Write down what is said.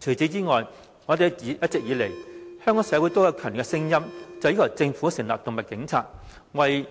除此之外，一直以來，香港社會都有強烈聲音要求政府設立"動物警察"專隊，為